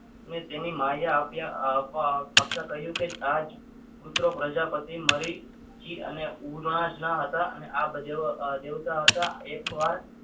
મેં તેમની માયા આપી આપવા આવતા કહ્યું કે તાજ પુત્ર પ્રજાપતિ મરી અને ઉનાદના હતા અને આ બધા દેવતા હતા. એકવાર